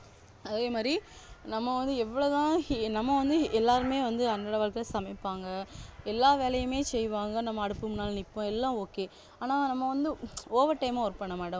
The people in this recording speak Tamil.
அதேமாதிரி நம்ம வந்து எவ்வளவுதான் நம்ம வந்து எல்லாருமே வந்து அண்ணளவாதான் சமைப்பாங்க எல்லா வேலையுமே செய்வாங்க நம்ம அடுப்பு முன்னால நிப்போம் எல்லாம் okay ஆனா நம்ம வந்து overtime ஆ work பண்ணமாட்டோம்